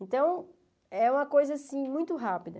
Então, é uma coisa, assim, muito rápida.